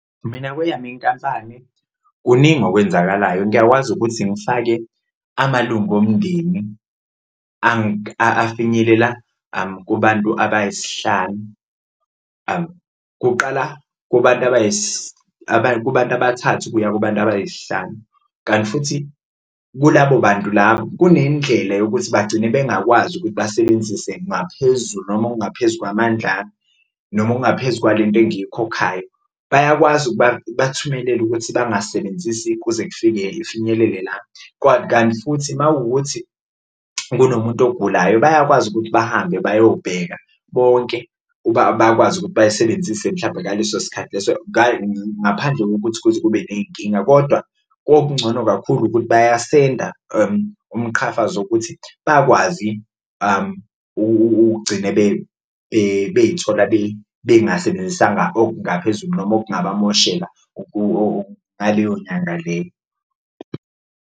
Mina kweyami inkampani kuningi okwenzakalayo ngiyakwazi ukuthi ngifake amalunga omndeni afinyelela kubantu abayisihlanu, kuqala kubantu kubantu abathathu ukuya kubantu abayisihlanu. Kanti futhi kulabo bantu labo kunendlela yokuthi bagcine bengakwazi ukuthi basebenzise ngaphezulu noma okungaphezu kwamandla ami, noma okungaphezu kwalento engiyikhokhayo. Bayakwazi ukubakuthumelela ukuthi bangasebenzisi kuze kufinyelele la, kanti futhi mawukuthi kunomuntu ogulayo bayakwazi ukuthi bahambe bayobheka bonke bakwazi ukuthi bayisebenzise mhlawumbe ngaleso sikhathi leso ngaphandle kokuthi kuze kube ney'nkinga. Kodwa okuncono kakhulu wokuthi bayisenda umqhafazo ukuthi bakwazi ukugcine beyithola bengasebenzisanga okungaphezulu noma okungabamoshela ngaleyo nyanga leyo.